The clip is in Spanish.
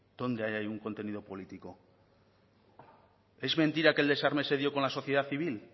dónde hay ahí un contenido político es mentira que el desarme se dio con la sociedad civil